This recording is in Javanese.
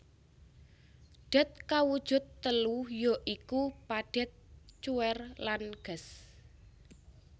Dat kawujud telu ya iku padhet cuwèr lan gas